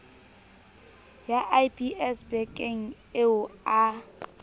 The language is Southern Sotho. ya lbs bekng eo a